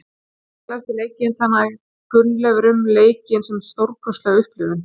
Í viðtali eftir leikinn talaði Gunnleifur um leikinn sem stórkostlega upplifun.